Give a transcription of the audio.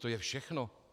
To je všechno.